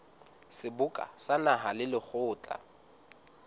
seboka sa naha le lekgotla